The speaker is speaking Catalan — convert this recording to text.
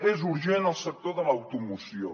és urgent el sector de l’automoció